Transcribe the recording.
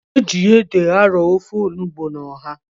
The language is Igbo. E ji ede arọ ofe onugbu na ọha.